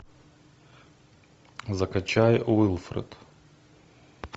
закачай уилфред